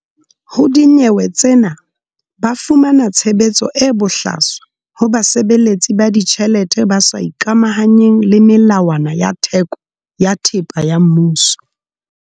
Ho dinyewe tsena ba fumana tshebetso e bohlaswa ho basebeletsi ba ditjhelete ba sa ikamahanyeng le melawana ya theko ya thepa ya mmuso.